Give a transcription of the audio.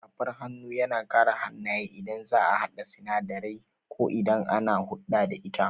Safar hannu yana kare hannaye idan za'a haɗa sinadarai ko idan ana hulɗa da ita